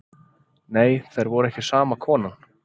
Nei þær voru ekki sama konan.